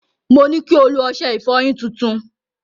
Mo ní kí o lo ọṣẹ ìfọyín tuntun.